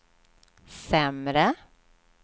sämre